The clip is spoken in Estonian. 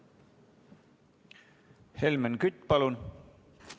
Helmen Kütt, palun!